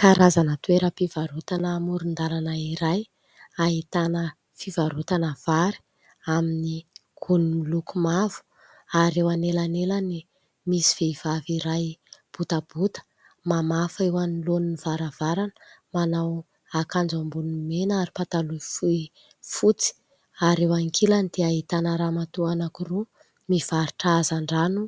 Karazana toeram-pivarotana amoron-dalana iray ahitana fivarotana vary amin'ny gony miloko mavo ary eo anelanelany misy vehivavy iray botabota mamafa eo anoloan'ny varavarana manao akanjo amboniny mena ary pataloha fohy fotsy ary eo ankilany dia ahitana ramatoa anankiroa mivarotra hazandrano